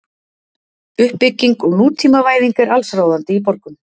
Uppbygging og nútímavæðing er allsráðandi í borgum.